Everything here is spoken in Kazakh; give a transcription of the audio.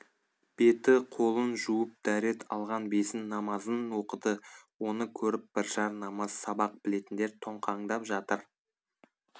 беті қолын жуып дәрет алған бесін намазын оқыды оны көріп біржар намаз сабақ білетіндер тоңқаңдап жатыр